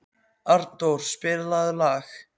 Arndór, spilaðu lag.